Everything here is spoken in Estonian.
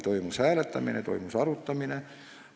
Toimus arutamine, toimus hääletamine.